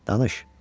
Danış.